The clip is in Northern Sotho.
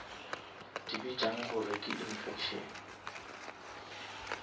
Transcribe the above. di bitšang gore ke infection